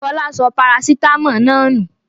Fọlá sọ parasítámọ̀ náà nù.